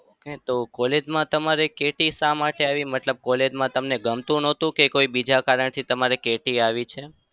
તો college માં તમારે કે ટી શા માટે આવી એટલે college માં તમને ગમતું નહતું કે કોઈ બીજા કારણથી તમારે કે ટી આવી છે?